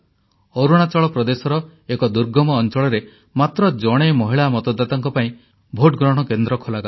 ଅରୁଣାଚଳ ପ୍ରଦେଶର ଏକ ଦୁର୍ଗମ ଅଂଚଳରେ ମାତ୍ର ଜଣେ ମହିଳା ମତଦାତାଙ୍କ ପାଇଁ ଭୋଟ ଗ୍ରହଣ କେନ୍ଦ୍ର ଖୋଲାଗଲା